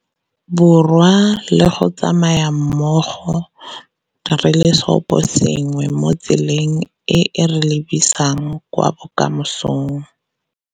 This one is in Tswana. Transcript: Borwa le go tsamaya mmogo re le seoposengwe mo tseleng e e re lebisang kwa bokamosong.